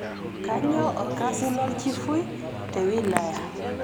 Kaainyoo olkasi lolchifui te wilaya